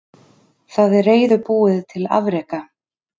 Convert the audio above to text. Það er reiðubúið til afreka.